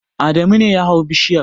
Adamu ne ya hau bishiyar.